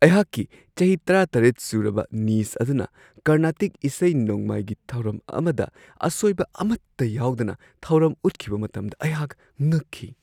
ꯑꯩꯍꯥꯛꯀꯤ ꯆꯍꯤ ꯱꯷ ꯁꯨꯔꯕ ꯅꯤꯁ ꯑꯗꯨꯅ ꯀꯔꯅꯥꯇꯤꯛ ꯏꯁꯩ-ꯅꯣꯡꯃꯥꯏꯒꯤ ꯊꯧꯔꯝ ꯑꯃꯗ ꯑꯁꯣꯏꯕ ꯑꯃꯠꯇ ꯌꯥꯎꯗꯅ ꯊꯧꯔꯝ ꯎꯠꯈꯤꯕ ꯃꯇꯝꯗ ꯑꯩꯍꯥꯛ ꯉꯛꯈꯤ ꯫